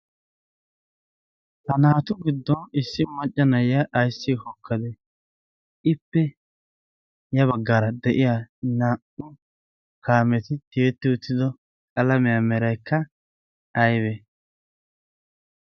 ha naatu giddon issi maccanayya ayssi hokkadee ippe'ya baggaara de'iya naa'u kaameti tiyetti uttido qalamiyaa meraykka aybee?